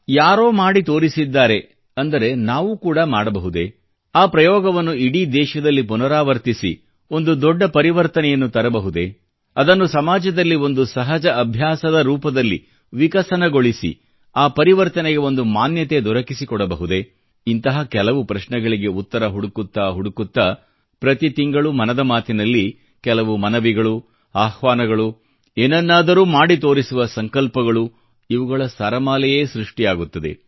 ಯಾರೋ ಮಾಡಿ ತೋರಿಸಿದ್ದಾರೆ ಅಂದರೆ ನಾವೂ ಕೂಡ ಮಾಡಬಹುದೇ ಆ ಪ್ರಯೋಗವನ್ನು ಇಡೀ ದೇಶದಲ್ಲಿ ಪುನರಾವರ್ತಿಸಿ ಒಂದು ದೊಡ್ಡ ಪರಿವರ್ತನೆಯನ್ನು ತರಬಹುದೇ ಅದನ್ನು ಸಮಾಜದಲ್ಲಿ ಒಂದು ಸಹಜ ಅಭ್ಯಾಸದ ರೂಪದಲ್ಲಿ ವಿಕಸನಗೊಳಿಸಿ ಆ ಪರಿಪರ್ತನೆಗೆ ಒಂದು ಮಾನ್ಯತೆ ದೊರಕಿಸಿಕೊಡಬಹುದೇ ಇಂತಹ ಕೆಲವು ಪ್ರಶ್ನೆಗಳಿಗೆ ಉತ್ತರ ಹುಡುಕುತ್ತಾ ಹುಡುಕುತ್ತಾ ಪ್ರತಿ ತಿಂಗಳು ಮನದ ಮಾತಿನಲ್ಲಿ ಕೆಲವು ಮನವಿಗಳು ಆಹ್ವಾನಗಳು ಏನನ್ನಾದರೂ ಮಾಡಿ ತೋರಿಸುವ ಸಂಕಲ್ಪಗಳು ಇವುಗಳ ಸರಮಾಲೆಯೇ ಸೃಷ್ಟಿಯಾಗುತ್ತದೆ